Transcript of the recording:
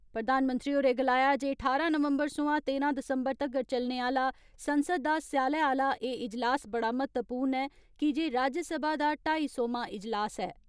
प्रधानमंत्री होरें गलाया जे ठारां नवंबर सोआं तेरां दिसंबर तगर चलने आह्ला संसद दा स्याले आह्ला एह् इजलास बड़ा म्ह्त्तवपूर्ण ऐ कीजे राज्यसभा दा ढाई सौमां इजलास ऐ।